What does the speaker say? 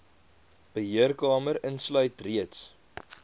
beheerkamer insluit reeds